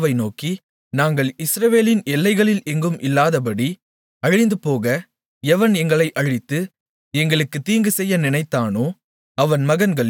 அவர்கள் ராஜாவை நோக்கி நாங்கள் இஸ்ரவேலின் எல்லைகளில் எங்கும் இல்லாதபடி அழிந்துபோக எவன் எங்களை அழித்து எங்களுக்குத் தீங்குசெய்ய நினைத்தானோ